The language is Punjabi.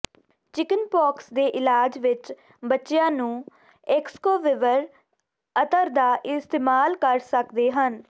ਚਿਕਨਪੌਕਸ ਦੇ ਇਲਾਜ ਵਿਚ ਬੱਚਿਆਂ ਨੂੰ ਏਸਕੋਵਿਵਰ ਅਤਰ ਦਾ ਇਸਤੇਮਾਲ ਕਰ ਸਕਦੇ ਹਨ